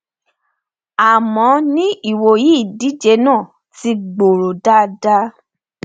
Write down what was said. àmọ ní ìwòyí ìdíje náà ti gbòòrò dáadáa